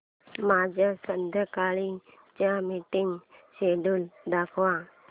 माझे संध्याकाळ चे मीटिंग श्येड्यूल दाखव